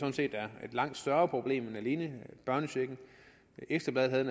langt større problem end børnecheken ekstra bladet havde